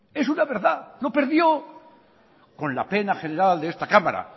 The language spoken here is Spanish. es una verdad lo perdió con la pena general de esta cámara